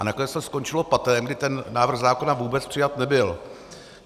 A nakonec to skončilo patem, kdy ten návrh zákona vůbec přijat nebyl.